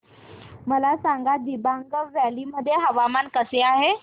मला सांगा दिबांग व्हॅली मध्ये हवामान कसे आहे